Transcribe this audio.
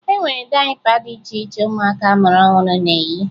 E nwere dayịpa dị iche iche ụmụaka a mụrụ ọhụrụ na-eyi